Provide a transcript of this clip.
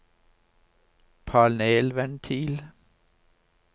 panelventil